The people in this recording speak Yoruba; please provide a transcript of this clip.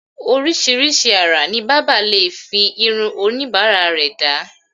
oríṣiríṣi àrà ni bábà lè fi irun oníbàárà rẹ̀ dá